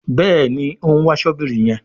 Béèni òún wá Ṣọ́bìrì yén.